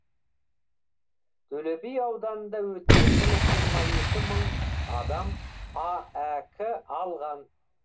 төлеби ауданында өткен жылы жиырма екі мың адам аәк алған